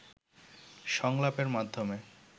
সংলাপের মাধ্যমে